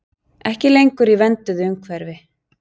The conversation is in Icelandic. Ekki lengur í vernduðu umhverfi